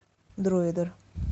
дроидер